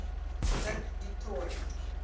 dirk du toit